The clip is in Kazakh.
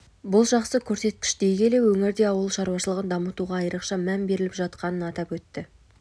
бұл жақсы көрсеткіш дей келе өңірде ауыл шаруашылығын дамытуға айрықша мән беріліп жатқанын атап өтті